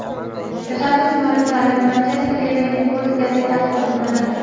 Tashabbus mualliflari Manchester Evening Post gazetasi xodimlaridir.